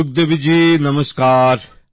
সুখদেবীজি নমস্কার